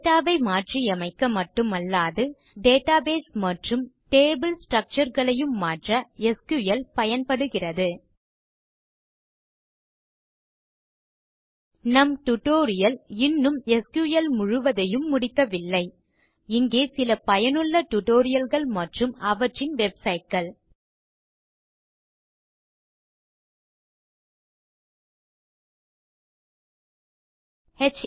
data ஐ மாற்றியமைக்க மட்டுமல்லாது டேட்டாபேஸ் மற்றும் டேபிள் ஸ்ட்ரக்சர் களையும் மாற்ற எஸ்கியூஎல் பயன்படுகிறது நம் டியூட்டோரியல் இன்னும் எஸ்கியூஎல் முழுவதையும் முடிக்கவில்லை இங்கே சில பயனுள்ள டியூட்டோரியல்ஸ் மற்றும் அவற்றின் வெப்சைட்ஸ்